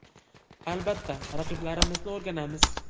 Albatta, raqiblarimizni o‘rganamiz.